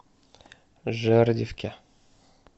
жердевке